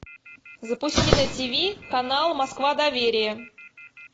запусти на тиви канал москва доверие